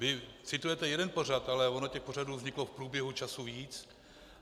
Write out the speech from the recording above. Vy citujete jeden pořad, ale ono těch pořadů vzniklo v průběhu času víc.